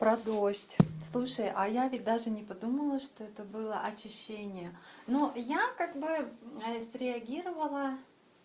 про дождь слушай а я ведь даже не подумала что это было очищение но я как бы среагировала